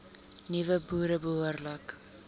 nuwe boere behoorlik